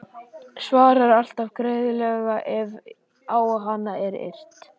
Svarar alltaf greiðlega ef á hana er yrt.